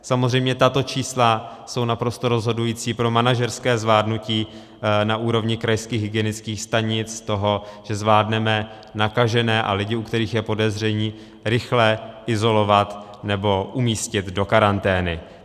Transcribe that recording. Samozřejmě tato čísla jsou naprosto rozhodující pro manažerské zvládnutí na úrovni krajských hygienických stanic toho, že zvládneme nakažené a lidi, u kterých je podezření, rychle izolovat nebo umístit do karantény.